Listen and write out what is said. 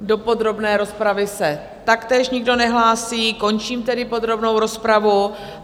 Do podrobné rozpravy se taktéž nikdo nehlásí, končím tedy podrobnou rozpravu.